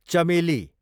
चमेली